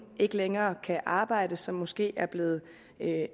ikke længere kan arbejde og som måske er blevet